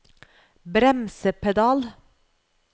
bremsepedal